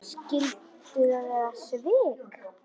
Skyldu það vera svik?